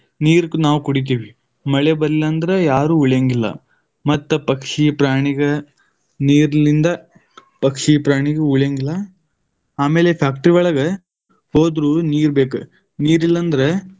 ನೀರ್‌ ನಾವ್‌ ಕುಡಿತೇವಿ, ಮಳೆ ಬರ್ಲಿಲ್ಲ ಅಂದ್ರ ಯಾರು ಉಳಿಯಂಗಿಲ್ಲ, ಮತ್ತ ಪಕ್ಷಿ ಪ್ರಾಣಿಗ ನೀರ್ಲಿಂದ ಪಕ್ಷಿ ಪ್ರಾಣಿಗು ಉಳಿಯಂಗಿಲ್ಲ. ಆಮೇಲೆ factory ಒಳಗ ಹೋದ್ರು ನೀರು ಬೇಕ, ನೀರಿಲ್ಲ ಅಂದ್ರ.